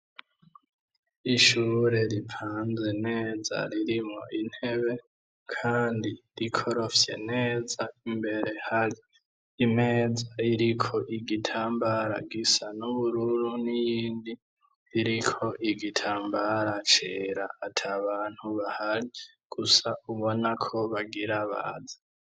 Ishure ripanze neza ririmwo intebe kandi rikorofye neza imbere hari imeza iriko igitambara gisa n'ubururu n'iyindi iriko igitambara cera atabantu bahari gusa ubona ko bagira baze.